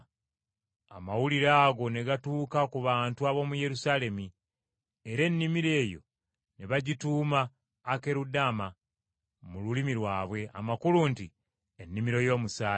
Amawulire ago ne gatuuka ku bantu ab’omu Yerusaalemi, era ennimiro eyo ne bagituuma Akerudama mu lulimi lwabwe, amakulu nti, Ennimiro y’Omusaayi!